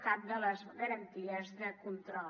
cap de les garanties de control